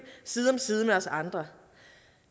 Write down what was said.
side om side med os andre